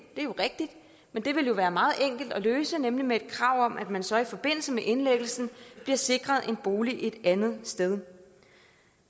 rigtigt men det ville jo være meget enkelt at løse nemlig med et krav om at man så i forbindelse med indlæggelsen bliver sikret en bolig et andet sted